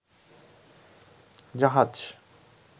জাহাজ